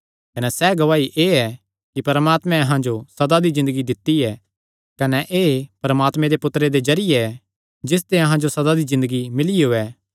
कने सैह़ गवाही एह़ ऐ कि परमात्मैं अहां जो सदा दी ज़िन्दगी दित्ती ऐ कने एह़ परमात्मे दे पुत्तरे दे जरिये ऐ जिसते अहां जो सदा दी ज़िन्दगी मिलियो ऐ